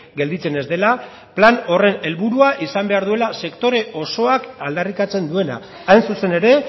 gelditzen ez dela plan horren helburua izan behar duela sektore osoak aldarrikatzen duena hain zuzen ere